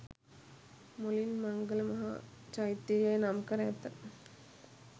මුලින් මංගල මහා චෛත්‍ය යැයි නම් කර ඇත